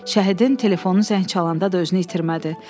Şəhidin telefonu zəng çalanda da özünü itirmədi.